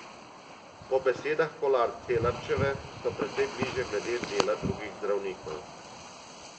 Po besedah Kolar Celarčeve so precej bliže glede dela drugih zdravnikov.